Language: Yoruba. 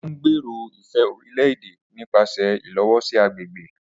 O ngbèrò ifẹ orílè-èdè nipasẹ ilowosi agbègbè